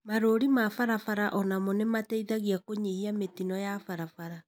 Marũri ma barabara onamo nĩmateithagia kũnyihia mĩtino ya barabara